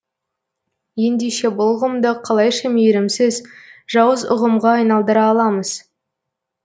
ендеше бұл ұғымды қалайша мейірімсіз жауыз ұғымға айналдыра аламыз